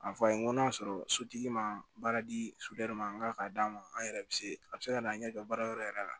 A fɔ a ye n ko n'a sɔrɔ sotigi ma baara di soden dɔ ma n k'a ka d'a ma an yɛrɛ bɛ se a bɛ se ka na an ɲɛ kɛ baara yɔrɔ yɛrɛ la